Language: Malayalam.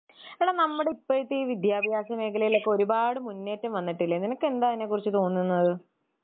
എടാ നമ്മുടെ ഇപ്പഴത്തെ വിദ്ത്യാഭ്യാസ മേഖലയിലൊക്കെ ഒരുപാട് മുന്നേറ്റം വന്നിട്ടില്ലേ നിനക്കെന്താ അതിനെ കുറിച്ച് തോന്നുന്നത്?